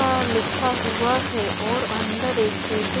आ लिखा हुआ है और अंदर एक टेबल --